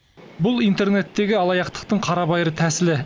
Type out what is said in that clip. бұл интернеттегі алаяқтықтың қарабайыр тәсілі